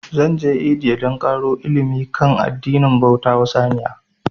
Zan je India dan ƙaro ilimi kan addinin bauta wa saniya